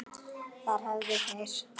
Þar höfðu þeir